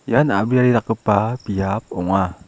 ian a·briari dakgipa biap ong·a.